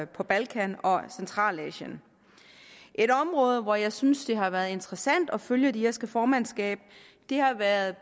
på balkan og centralasien et område hvor jeg synes det har været interessant at følge det irske formandskab har været